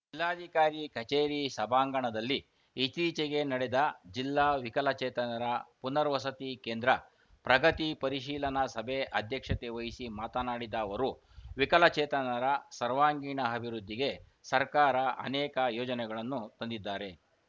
ಜಿಲ್ಲಾಧಿಕಾರಿ ಕಚೇರಿ ಸಭಾಂಗಣದಲ್ಲಿ ಇತ್ತೀಚೆಗೆ ನಡೆದ ಜಿಲ್ಲಾ ವಿಕಲಚೇತನರ ಪುನರ್ವಸತಿ ಕೇಂದ್ರ ಪ್ರಗತಿ ಪರಿಶೀಲನಾ ಸಭೆ ಅಧ್ಯಕ್ಷತೆ ವಹಿಸಿ ಮಾತನಾಡಿದ ಅವರು ವಿಕಲಚೇತನರ ಸರ್ವಂಗೀಣ ಅಭಿವೃದ್ಧಿಗೆ ಸರ್ಕಾರ ಅನೇಕ ಯೋಜನೆಗಳನ್ನು ತಂದಿದ್ದಾರೆ